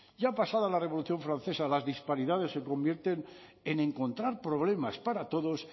ya ha pasado a la revolución francesa las disparidades se convierten en encontrar problemas para todos